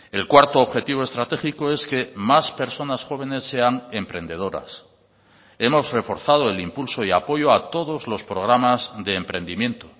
el cuarto objetivo estratégico es que más personas jóvenes sean emprendedoras hemos reforzado el impulso y apoyo a todos los programas de emprendimiento